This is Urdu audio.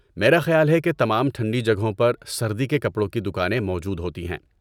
میرا خیال ہے کہ تمام ٹھنڈی جگہوں پر سردی کے کپڑوں کی دکانیں موجود ہوتی ہیں۔